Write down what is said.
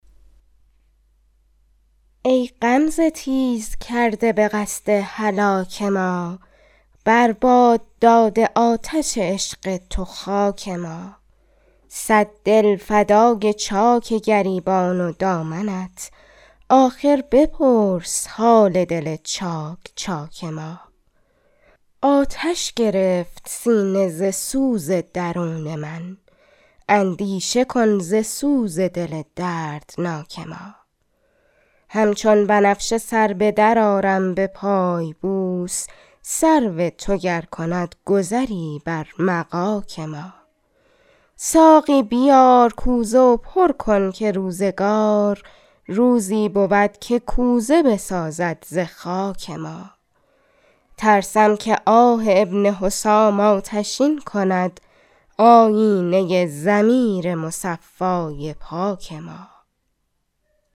ای غمزه تیز کرده به قصد هلاک ما بر باد داده آتش عشق تو خاک ما صد دل فدای چاک گریبان و دامنت آخر بپرس حال دل چاک چاک ما آتش گرفت سینه ز سوز درون من اندیشه کن ز سوز دل دردناک ما همچون بنفشه سر بدر آرم به پای بوس سرو تو گر کند گذری بر مغاک ما ساقی بیار کوزه و پر کن که روزگار روزی بود که کوزه بسازد ز خاک ما ترسم که آه ابن حسام آتشین کند آیینه ضمیر مصفای پاک ما